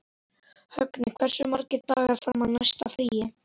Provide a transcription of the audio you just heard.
Högni, hversu margir dagar fram að næsta fríi?